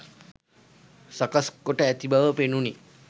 සකස් කොට ඇති බව පෙනුනි.